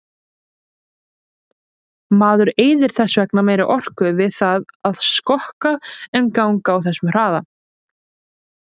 Maður eyðir þess vegna meiri orku við það að skokka en ganga á þessum hraða.